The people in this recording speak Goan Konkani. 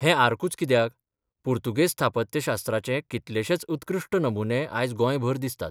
हें आर्कूच कित्याक, पुर्तुगेज स्थापत्यशास्त्राचे कितलेशेच उत्कृश्ठ नमुने आज गोंयभर दिसतात.